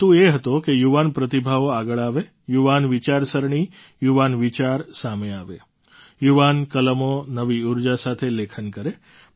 હેતુ એ હતો કે યુવાન પ્રતિભાઓ આગળ આવે યુવાન વિચારસરણી યુવાન વિચાર સામે આવે યુવાન કલમો નવી ઊર્જા સાથે લેખન કરે